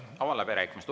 Avan läbirääkimised.